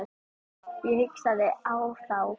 Ég hlustaði á þá.